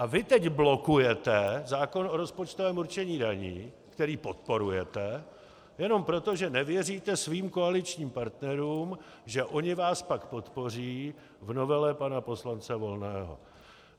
A vy teď blokujete zákon o rozpočtovém určení daní, který podporujete jenom proto, že nevěříte svým koaličním partnerům, že oni vás pak podpoří v novele pana poslance Volného.